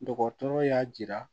Dɔgɔtɔrɔ y'a jira